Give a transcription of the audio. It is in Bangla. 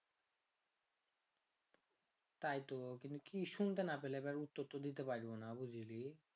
তাই তো কিন্তু কি শুনতে না পেলে এইবার উত্তর তো দিতে পারবোনা বুঝলি রে